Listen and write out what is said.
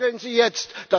Handeln Sie jetzt!